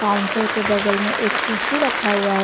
Counter के बगल में एक कुर्सी रखा हुआ है।